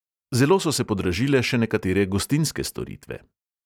Zelo so se podražile še nekatere gostinske storitve.